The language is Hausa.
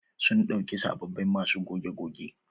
Sun ɗauki sabobbin masu goge goge.